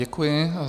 Děkuji.